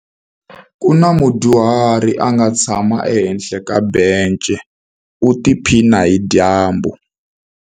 Ku na mudyuhari a nga tshama ehenhla ka bence u tiphina hi dyambu.